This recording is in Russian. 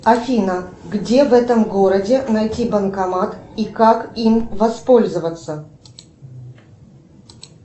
афина где в этом городе найти банкомат и как им воспользоваться